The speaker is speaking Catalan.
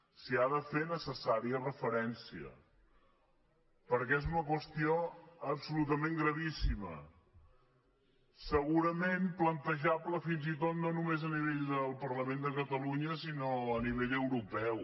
s’hi ha de fer necessària referència perquè és una qüestió absolutament gravíssima segurament plantejable fins i tot no només a nivell del parlament de catalunya sinó a nivell europeu